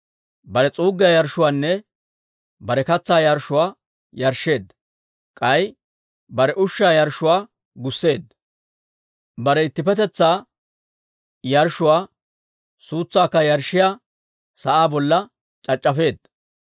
bare s'uuggiyaa yarshshuwaanne bare katsaa yarshshuwaa yarshsheedda. K'ay bare ushshaa yarshshuwaa gusseedda; bare ittippetetsaa yarshshuwaa suutsaakka yarshshiyaa sa'aa bolla c'ac'c'afeedda.